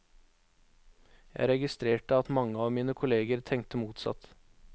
Jeg registrerte at mange av mine kolleger tenkte motsatt.